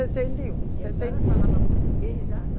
e um, sessenta. E a senhora falava português, já, não?